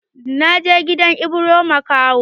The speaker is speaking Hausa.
Na je gidan Ibro makaho.